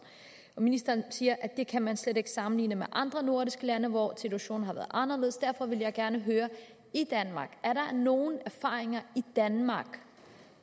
ministeren siger at det kan man slet ikke sammenligne med andre nordiske lande hvor situationen har været anderledes derfor vil jeg gerne høre er der nogle erfaringer i danmark